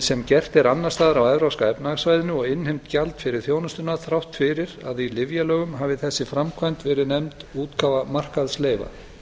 sem gert er annars staðar á evrópska efnahagssvæðinu og innheimt gjald fyrir þjónustuna þrátt fyrir að í lyfjalögum hafi þessi framkvæmd verið nefnd útgáfa markaðsleyfa